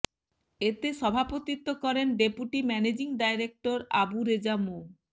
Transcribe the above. এতে সভাপতিত্ব করেন deputy managing director Abu Reza মো